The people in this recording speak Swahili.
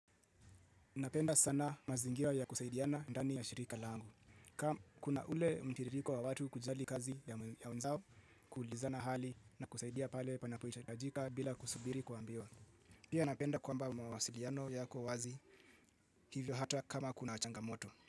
Napenda sana mazingira ya kusaidiana ndani ya shirika langu. Kama kuna ule mtiririko wa watu kujali kazi ya wenzao kuulizana hali na kusaidia pale panapohitajika bila kusubiri kuambiwa. Pia napenda kwamba mawasiliano yako wazi hivyo hata kama kuna changamoto.